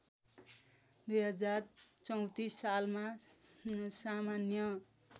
२०३४ सालमा सामान्य